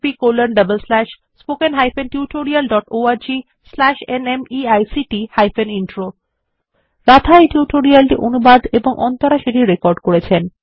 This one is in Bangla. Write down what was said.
httpspoken tutorialorgNMEICT Intro রাধা এই টিউটোরিয়াল টি অনুবাদ এবং অন্তরা সেটি রেকর্ড করেছেন